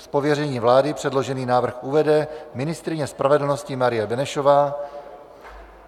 Z pověření vlády předložený návrh uvede ministryně spravedlnosti Marie Benešová.